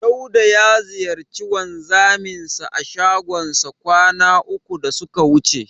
Dauda ya ziyarci wanzaminsa a shagonsa kwana uku da suka wuce.